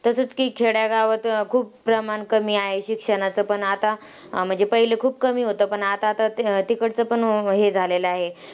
तसंच की खेड्यागावात खूप प्रमाण कमी आहे शिक्षणाचं, पण आता म्हणजे पहिले खूप कमी होतं. पण आता तर तिकडचं पण हे झालेलं आहे.